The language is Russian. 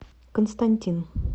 константин